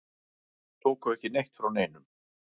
Tóku ekki neitt frá neinum.